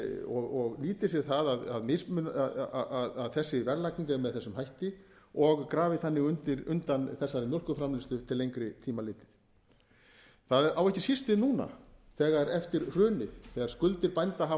og nýti sér það að þessi verðlagning er með þessum hætti og grafi þannig undan þessari mjólkurframleiðslu til lengri tíma litið það á ekki síst við núna eftir hrunið þegar skuldir bænda hafa